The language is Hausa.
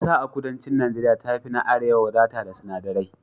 Ƙasa a kudancin Najeriya ta fi na arewa wadata da sinadirai